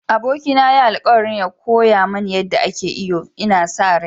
Abokina ya yi alkawarin koya mani yadda ake iyo, ina sa rai.